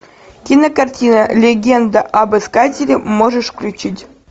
кинокартина легенда об искателе можешь включить